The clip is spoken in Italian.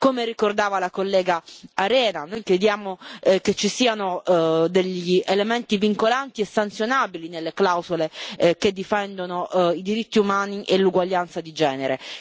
Come ricordava la collega Arena, noi chiediamo che ci siano degli elementi vincolanti e sanzionabili nelle clausole che difendono i diritti umani e l'uguaglianza di genere